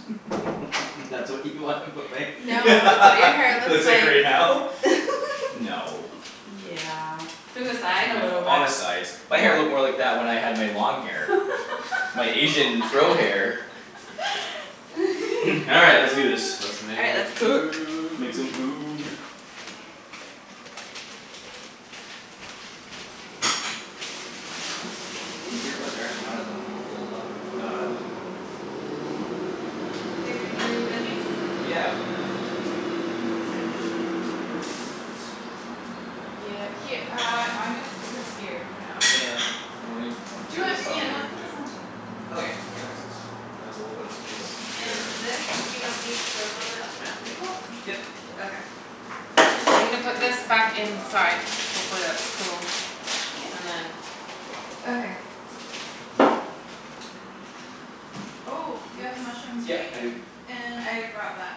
That's what you wanna put my No it's what your hair looks looks like like. right now? No. Yeah in the side a No, little bit. on the sides. My hair looked more What? like that when I had my long hair. My Asian fro hair. All right let's do this. Let's All right, make let's cook. Make some food. food. These earbuds are actually not as uncomfortable as I thought they were No gonna I don't be. Mm- think mm. they're comfortable at all. Babe, you wanna do th- veggies? Yeah, I was gonna These cameras are in terrible spots. Yeah, her- uh I'm gonna stick this here for now. Yeah. And leave I'll clear Do it this off Yeah. Ian, for you let's put this too. on the table. Okay, Yeah. that makes sense. And there's a little bit of space And here. this we don't need for a little bit I'll put it on Yep, table? yep. Okay. Ends are I'm gonna put this here, ready back to rock. inside. Hopefully that's cool Yeah. and then Okay. Oh you have the Oops. mushrooms Yeah, right? I do. And I brought that.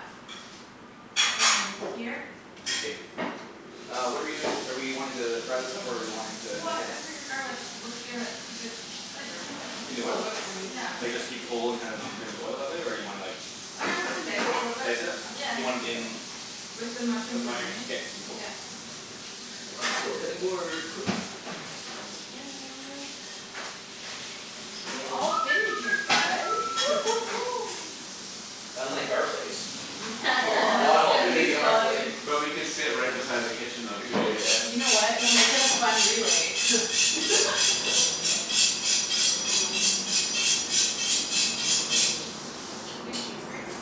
And here. K. Uh what're we doing are we wanting to fry this up or are we wanting to make What it I figured garlic would give it a good flavor. In the oil? Oh oops, I'm using Yeah. Like this side. just keep it whole and just kind of flavor the oil that way or do you wanna like Oh yeah I was gonna dice it a little Dice it up? Do you want bit. it in With the With mushrooms the and mushrooms? onions, K, cool. yeah. Gonna steal a cutting board quick. And that We all So fit in here guys Unlike our place. We are Oh not all it's gonna fitting be in our place. fun. But we can sit right beside the kitchen though We too in totally your place. can. You know what? We'll make it a fun relay Do you have a cheese grater?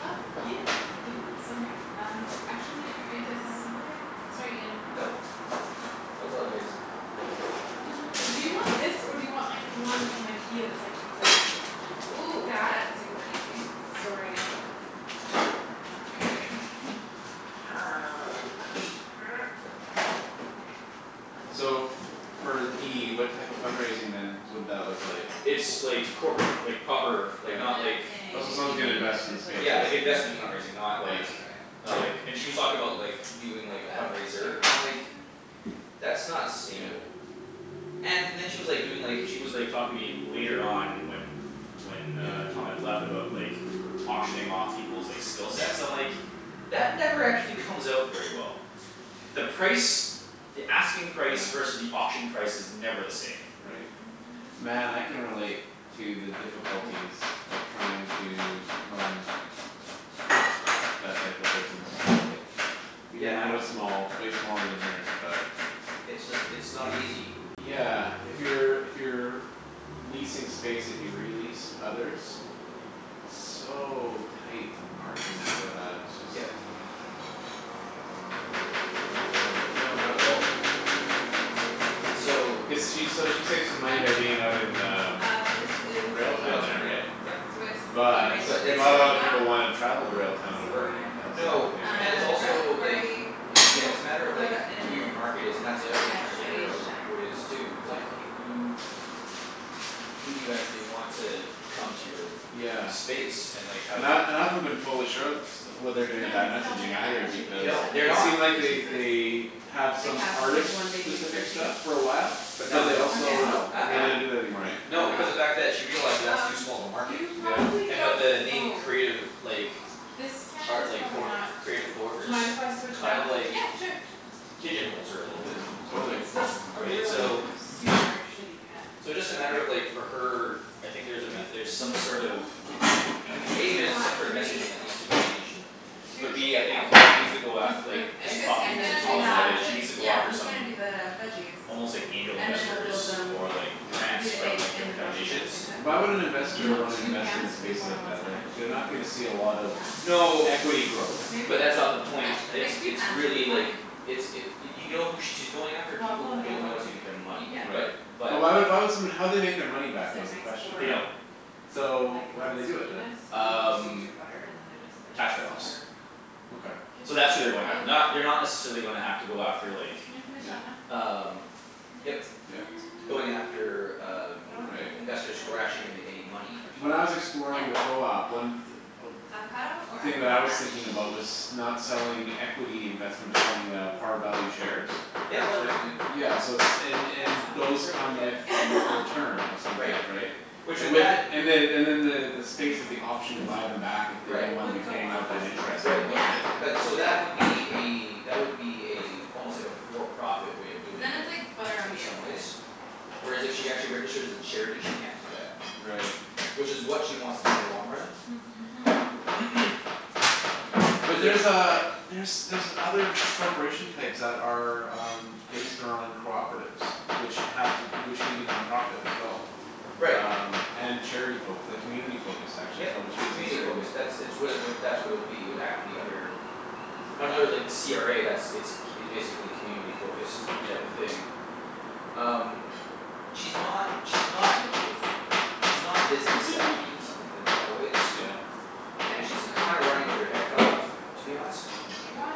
Oh yeah I do Yeah. somewhere um I'm actually I gonna get think this it's outta the way sorry Ian. Nope. No apologize. Do you want this Inject. or do you want the one from Ikea that's like the Ooh, that? that's super easy. Sorry again. No. Uh it's right here So for D what type of fund raising then would that look like? It's like corporate fund- like proper like And not then like Yeah Oh so if someone's you Thank you. gonna need it invest in the there's a States, Yeah lid like basically. if investment you fundraising, not don't want like it Yeah. to dry out. Not like and Yeah. she was talking about like doing like a Uh fundraiser no and I'm like Um. "That's not sustainable" And then she was like doing like she was like talking to me later on when When uh Yeah. Tom had left about like Auctioning off peoples' like skill sets I'm like "That never actually comes out very well." The price the asking price versus Yeah. the auction price is never the same. Right. Man I can relate to the Ooh. difficulties of trying to run That type of business. Look at Yep. that. Even Yeah no. mine was small way smaller than hers but It's just it's not easy. Yeah, if you're if you're Leasing space that you re-lease to others. So tight on the margins for that. It's just Yep. Not fun. No, not at all. And so. Cuz she s- she saves What money kind by did you get? being out in um Uh this is Railtown the Railtown, there yep right? yep. Swiss cave But aged But gruyere it's not a that kinda we lotta got. people wanna Oh travel to Railtown to so work good. as the other No thing right? and it's Uh, garlic also like havarti, It's yeah it's a smoked matter of like gouda, who your and market is and that's the other thing tryin' to extra figure aged out cheddar. who it is too it's like Lovely. who who do you actually want to come to your Yeah. space and like how And do I you and I haven't been totally sure and st- what they're Do doing you with wanna I mix it all messaging together or either should we They because do it don't. They're separate? It not. seemed like The they they cheeses. have Like some have just like artist one big mix specific of cheese? stuff for a while. But I'm But now they they don't, down also no. with Okay. now they that. don't do that anymore eh? Why No not? because of fact that she realizes that's too Um small of a market. you probably Yeah. And but don't the name oh Creative like This pan is Art like probably not. creative coworkers? Mind if I switch it Kind out? of like Yeah sure. Pigeon holes her a little bit. Totally. It's just a Right? really So super shitty pan So just a matter of like for her I think there's a There's met- er some this sort of one. Do A you there's want some sort of three? messaging that needs to be changed. Two But should B I be think she needs okay to go at Just like with just just eggs cuz he's and talking to then gonna do Tom dual about that sandwich it it? she needs to go yeah after he's some gonna do the veggies. Almost like angel And then we'll investors build them or like we'll Yeah. do grants the from eggs like and the different grilled cheese at the foundations same time. Why would an Do you investor want wanna two invest in pans a to do space more than like one that sandwich? like they're not gonna see a Oh lot of yeah. No. equity growth. Maybe? But that's not the point, it's Like two it's pans should really be like fine. It's it I y- think. you know who she's going after Well I'll people put who out the other don't know one if what to you do need with their it. money Yeah. but Right. But. But why why would somebody how would they make their money Cuz back though they're is the nice question, for They right? don't. um So like why do they do it non-stickiness then? and then you can just use Um your butter and then they're just like Tax write offs Yeah. super Okay. So Good that's as who they're a going bug. after. Ooh. Not they're not necessarily gonna have to go after like Can you finish Yeah. that one? Um What can I yep. Yep. do to help? Going after um I don't wanna cut the Right. investors who avocado are actually yet. gonna make any money. Or When should I was I? Yeah. exploring the co-op, one th- Avocado or thing that I avocado was mash? thinking about was not selling equity investment but I mean selling uh par value shares Yep that It works writ- too. yeah so it's and that and sounds those really come good. with return of some Right. type, right? Which And with with it that and the Hmm. and then the the space is the Mm, let's option do to this one. buy them back if they Right. don't It wanna be would go paying on out that easier. interest Right anymore, Yeah. right? but Let's so do it. that would be a that would be a Let's do it. I like almost like that. a for profit way of But doing then it's it like butter on in the some inside. ways. Whereas if she actually registers as a charity she can't do that. Right. Which is what she wants to do in the long run. But Cuz there's there's uh there's other corporation types that are um Based on cooperatives which have to which can be non-profit as well. Right. Um and charity focus like community focused actually is Yep. what which gives you Community certain focus. That's it's what it would that's what it would be it would have to be under Under like the CRA that's it's c- it's basically community focused type of Yep. thing. um She's not she's not Hunk o' She's not cheese? business-savvy in some wa- in a lot of ways. Yeah. Goat And she's cheese kind of running with her head cut off to be honest. Do you wanna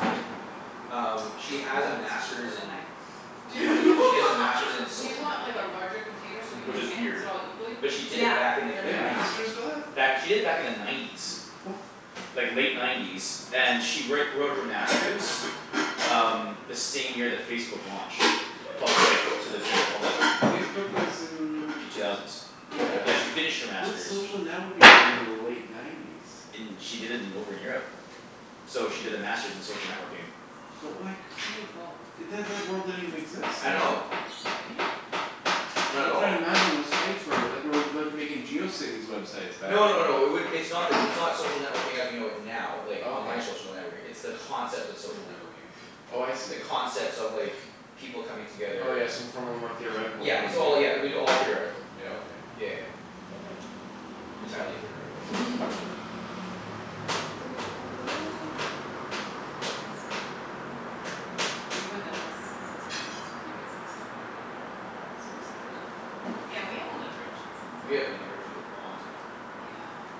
Um she I has a won't speak master's with a in knife. Do funny she has a master's in do you social want like a networking. larger container so we Which can is Mhm. mix weird. it all equally? But she did Yeah, it back in They like that'd the be have great. K. nineties. masters for that? Back she did it back in the nineties. Like late nineties and she write wrote her master's Um the same year that Facebook launched. Pub- like to the general public. Facebook was in The two thousands. Yeah. Yeah she finished her What's master's social networking within the late nineties? In she did it in over in Europe. So she did the master's in social networking. But like I need a bowl. That that word didn't even exist I then know. though. Sorry. Not at I'm all. tryin' to imagine what sites were like we're like making Geocities websites back No no then. no it would it's not like it's not social networking as we know it now like online Okay. social networking it's the concept of social networking. Hmm. Oh I The see. concepts of like people coming Oh together yeah, so from a more theoretical Yeah point it's of all yeah it view. would be all theoretical. Yeah, okay. Yeah yeah yeah. Entirely theoretical. That looks so good. Gasp We haven't done this since we did this with you guys last time. I'm so excited. Yeah, we haven't done grilled cheese since We then. haven't done a grilled cheese in a long time. Yum.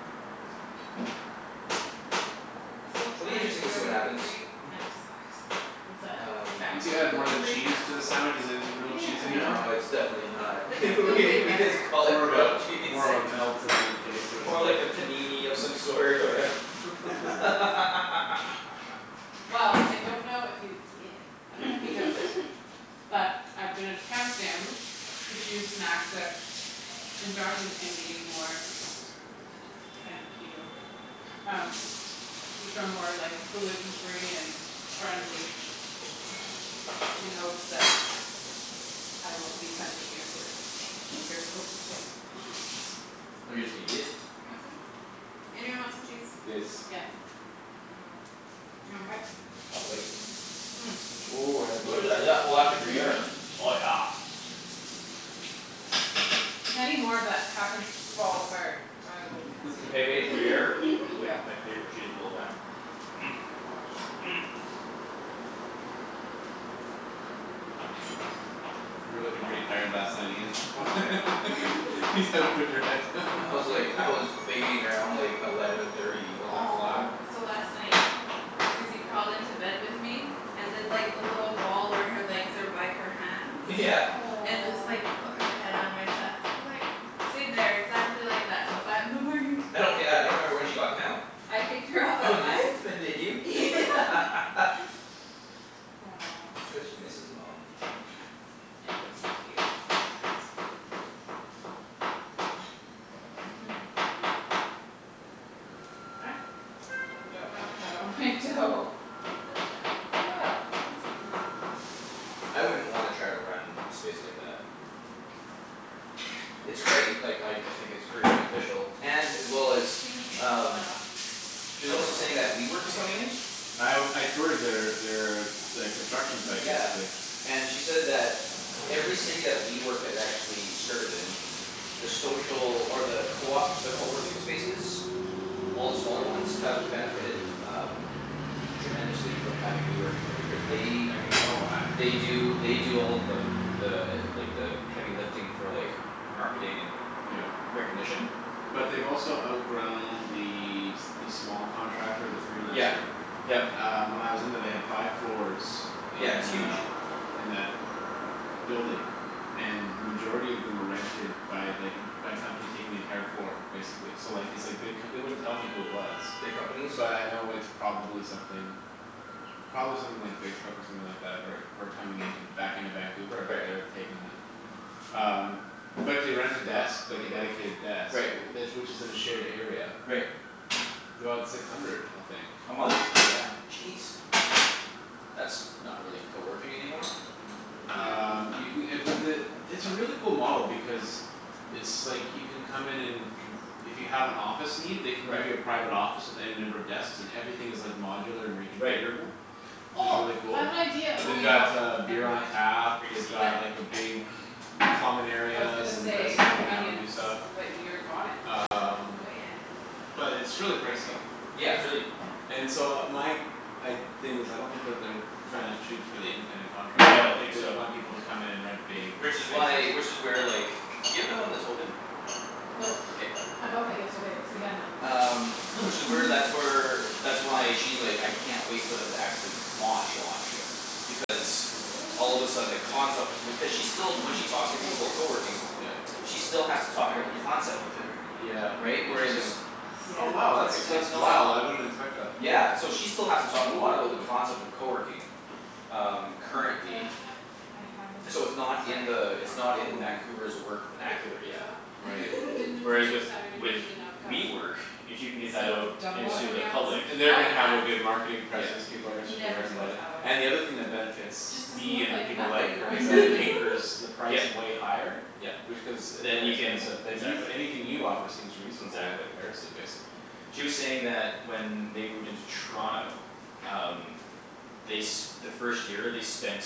This whole It'll be trying to interesting to go see what gluten happens. free kinda sucks. What's that? Um. Trying Once to you go add more gluten than free kinda cheese to a sucks. sandwich is it is it grilled cheese anymore? No it's Yeah. definitely not Like I feel we way we better just call but it More of grilled a cheese. more of a melt in that case or More something. like a panini of some sort or Yeah, Naan Well I 'scuse. don't know if you yeah I dunno if you know this But I've been attempting to choose snacks that and Josh is eating more Kind of Keto Um which are more like gluten free and friendly in hopes that I won't be tempting you to eat Oh you're just gonna eat it? You want some? Anyone want some cheese? Yes. Yeah. Mkay, you want a bite? I'll have a bite. Ooh, that's What good. is that? Oh that's a gruyere. Mhm. Oh yeah. If any more of that happens to fall apart, I will consume Pavage it for you. gruyere is like Yeah. my favorite cheese of all time. Oh my gosh. You were lookin' pretty tired last night Ian. Oh yeah. Just had to put your head. I was like I was fading around like eleven thirty eleven Aw. o'clock. Yeah. So last night Susie crawled into bed with me And did like the little ball where her legs are by her hands Yeah. And just like put her head on my chest and just like Stayed there exactly like that till five in the morning. I don't yeah I don't remember when she got down. I kicked her off Oh at did five. f- did you? Yeah Aw It's cuz she Susie. misses mum. It was cute. is very cute. Ah, I dropped avocado on my toe Well, that's fun. I wouldn't wanna try to run a space like that. It's great like how y- I think it's Yeah. very beneficial and as well as Can you just pull um that off? She's also saying that WeWork is coming in? I w- I toured their their their construction site Yeah basically. and she said that Every city that WeWork has actually started in The social or the coop the coworking spaces All the smaller ones have benefited um Tremendously from having WeWork in there because I can they I can tell why. They do they do all of the The like the heavy lifting for like marketing and Yep. recognition. But they've also outgrown the s- the small contractor the Yeah, freelancer. yep. Um when I was in there they had five floors Yeah, it's in huge. uh In that building And then majority of them were rented by like en- by companies taking the entire floor basically so like it's like big co- they wouldn't tell me who it was. Big companies. But I know it's probably something Probably something like Facebook or Ow. something like that who are who are coming into back into Vancouver but Right. they're taking uh Um but to rent a desk like a dedicated desk Right. wh- tha- which is in a shared area Right. Is about six hundred, I think. A month? Yeah. Jeez. That's not really coworking anymore. Um you No ca- uh but the it's a really cool model because It's like you can come in and conf- if you have an office need they can give you a Right. private office with any number of desks and everything is like modular and Right. reconfigurable. Which is Oh really I cool. have an idea oh They've you got got them, uh beer never on mind. tap, Grape they've Oops. seed got What? like a big Common I was gonna areas and places say to hang out and do onions stuff but you're on it Um Oh yeah. But it's really Oh pricey. yeah, it's really And so my g- I'd thing is I don't think that they're Tryin' to shoot for the independent No I don't contractor think they so. want people to come in and rent big Which is spaces. why which is where like do you have one that's open? No K. I bought that yesterday cuz we had none Um which is where that's where That's why she's like, "I can't wait for them to actually launch launch." Yeah. Because all of a sudden the concept Yeah. because she's still when she talks to people about coworking Yeah. She still has to talk about the Garlic concept of it. Yeah havarti. Right? interesting. Whereas Yeah, Oh wow it's where it's that's It's at. it's that's not wow I wouldn't expect that. Yeah, so she still has to talk a lot about the Okay Yeah. concept of coworking. Um Wonder currently. if Ah I have any. So it's not in Sorry. the it's not in Vancouver's work Sorry vernacular yet. computah Right. you didn't Whereas with predict so I would with need an avocado. WeWork, if you can get that So out double up Into on the the avos? public. Oh yeah, And they're gonna have a good marketing presence, Yeah. people are gonna start to never learn too about much it. avo. And the other thing that benefits Just doesn't D look and like people enough like her anymore is that anchors the price Yep. way higher. Yep. Which cuz Then you can inexpensive. Then Oops. you anything you offer seems reasonable in Exactly. comparison basically. She was saying that when they moved into Toronto Um they s- the first year they spent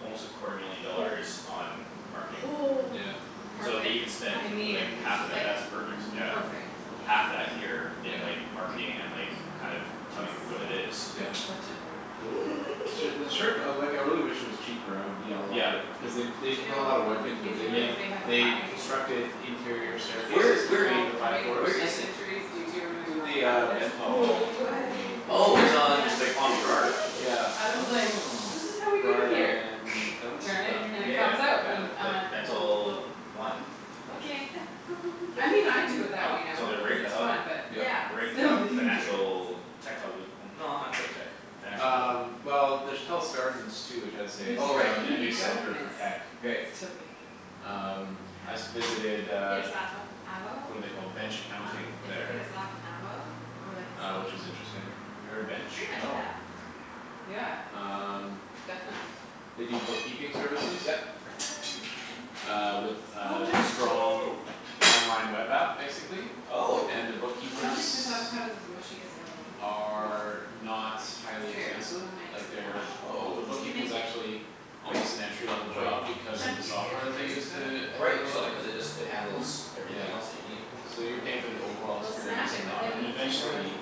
Almost a quarter million dollars on marketing. Yeah. So if they Perfect. even spend I like mean. It's half of just that like that's perfect yeah. perfect. Half that here Yes. in Yeah. like marketing and like kind of Mhm. I'm telling people what su- it is I'm Yeah. such a nerd. Cool. Su- the sure co- like I really wish it was cheaper I would be all Yeah. over it. Cuz they b- Do they you put a know lotta work in into New it. Yep. Zealand they have a They high constructed interior incidence Where of staircases where between people the five coming in i- where with floors. is knife it? injuries due to It's removing in the avocado um pits? No Bentall I believe the way Oh it's Apparently on yeah. like on Burrard. Yeah. Adam's like, Oh. "This is how we do it Burrard here and turn it, Dun- and it Yeah Dunsmuir? comes out", yeah and Yeah. I'm like like like "Oh Bentall well". One. Okay. I mean I do it that Oh way so now they're because right in it's the hub. fun but Yeah. Yep. They're right it's in the still kind of the dangerous financial tech hub no not quite tech. Financial. Um well there's Telus Gardens too which I would say Even is if you Oh right. now d- a even a if you new don't center for miss tech. Right. it's still dangerous Um I s- Yeah. visited You uh got avo What're they called, Bench Huh? Accounting If you get there. a soft avo or like a Uh which seed is interesting. Have you you're heard f- Bench? pretty much No. effed. Yeah. Um Definitely. They do bookkeeping services. Yep. Uh with So a much strong cheese. online web app basically. Oh. And the I don't think bookkeepers this avocado's as mushy as the other one. Oh well. Are not Who highly cares, expensive. we'll make it Like smash. they're all the Oh. We'll bookkeeping is make it. actually Quite Almost an entry level quite. job because of the Chunky's good software that they too, use so. to Oh right handle it so all. they cuz it just it Mhm. handles everything else that Yeah. you need. So you're paying for the overall We'll smash experience it and the with a aut- and meat tenderizer. eventually